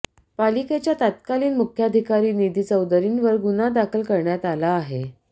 पालिकेच्या तत्कालीन मुख्याधिकारी निधी चौधरींवर गुन्हा दाखल करण्यात आला आहे